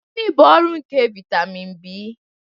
Gịnị bụ ọrụ nke vitamin B?